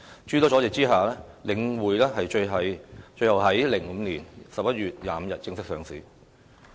諸多阻滯下，領匯最終於2005年11月25日正式上市。